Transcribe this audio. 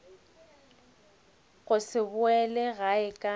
go se boele gae ka